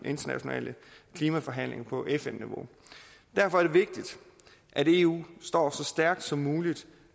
internationale klimaforhandlinger på fn niveau derfor er det vigtigt at eu står så stærkt som muligt